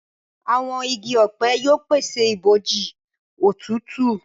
Àwọn ìgi ọpẹ yóò pese ibojì òtútù.